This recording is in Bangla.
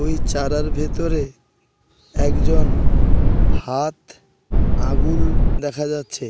ওই চারার ভেতরে একজন হাত আঙুল দেখা যাচ্ছে।